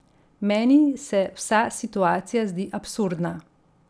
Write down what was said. Meni se vsa situacija zdi absurdna.